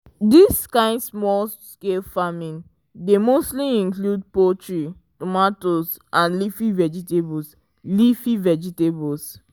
dis kind small-scale farming dey mostly include poultry tomatoes and leafy vegetables leafy vegetables